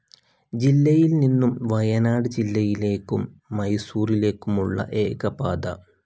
ജില്ലയിൽനിന്നും വയനാട് ജില്ലയിലേക്കും മൈസൂറിലേക്കുമുള്ള ഏകപാത.